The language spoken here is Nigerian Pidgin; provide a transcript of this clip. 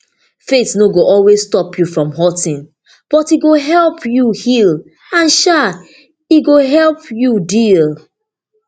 faith no go always stop you from hurting but e go help you heal and um e go help you deal